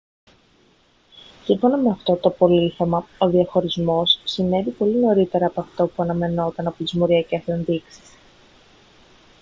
σύμφωνα με αυτό το απολίθωμα ο διαχωρισμός συνέβη πολύ νωρίτερα από αυτό που αναμενόταν από τις μοριακές ενδείξεις